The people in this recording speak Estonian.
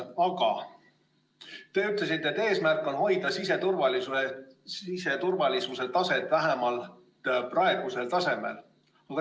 Aga te ütlesite, et eesmärk on hoida siseturvalisuse taset vähemalt praegusel tasemel.